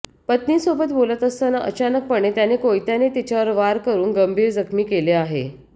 पत्नीसोबत बोलत असताना अचानकपणे त्याने कोयत्याने तिच्यावर वार करून गंभीर जखमी केले आहे